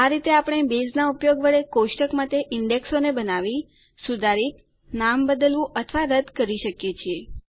આ રીતે આપણે બેઝનાં ઉપયોગ વડે કોષ્ટકો માટે ઈન્ડેક્સોને બનાવી સુધારિત નામ બદલવું અથવા રદ્દ કરી શકીએ છીએ